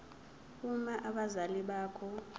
uma abazali bakho